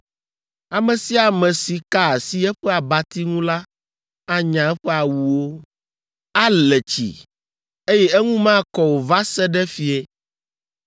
Ame sia ame si ka asi eƒe abati ŋu la anya eƒe awuwo, ale tsi, eye eŋu makɔ o va se ɖe fiẽ.